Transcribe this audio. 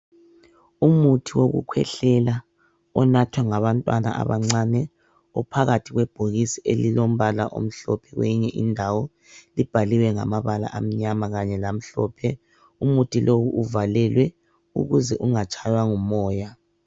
Umuthi wokukhwehlela onathwa ngabantwana abancane ophakathi kwebhokisi ililombala omhlophe kweyinye indawo. Libhaliwe ngamabala amnyama kanye lamhlophe. Umuthi lowu uvalelwe ukuze ungatshaywa ngumoya.